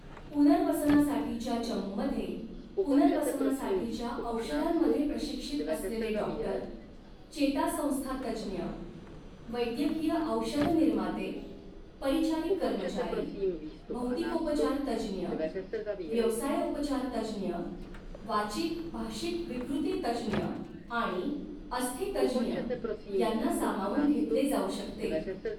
पुनर्वसनासाठीच्या चमूमध्ये, पुनर्वसनासाठीच्या औषधांमध्ये प्रशिक्षित असलेले डाॅक्टर, चेतासंस्थातज्ज्ञ, वैद्यकीय औषधनिर्माते, परिचारिक कर्मचारी, भौतिकोपचारतज्ज्ञ, व्यवसायोपचारतज्ज्ञ, वाचिक भाषिक विकृतितज्ज्ञ आणि अस्थितज्ज्ञ यांना सामावून घेतले जाऊ शकते.